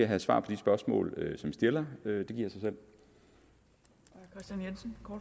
have svar på de spørgsmål det stiller det giver sig selv